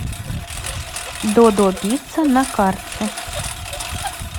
додо пицца на карте